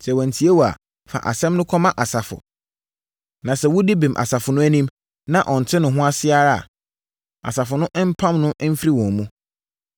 Sɛ wantie wo a, fa asɛm no kɔma asafo. Na sɛ wodi bem asafo no anim, na ɔnte ne ho ase ara a, asafo no mpam no mfiri wɔn mu.